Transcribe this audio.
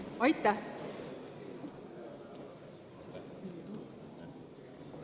Aitäh!